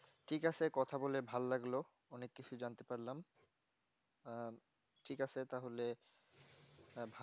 ঠিক আছে কথা বলে ভাল লাগলো অনেক কিছু জানতে পারলাম আহ ঠিক আছে তাহলে হ্যাঁ